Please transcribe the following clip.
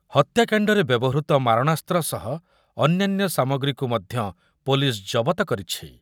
ହତ୍ୟାକାଣ୍ଡରେ ବ୍ୟବହୃତ ମାରଣାସ୍ତ୍ର ସହ ଅନ୍ୟାନ୍ୟ ସାମଗ୍ରୀକୁ ମଧ୍ୟ ପୋଲିସ ଜବତ କରିଛି ।